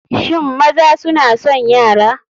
Shin maza suna son yara?